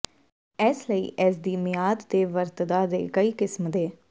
ਇਸ ਲਈ ਇਸ ਦੀ ਮਿਆਦ ਦੇ ਵਰਤਦਾ ਦੇ ਕਈ ਕਿਸਮ ਦੇ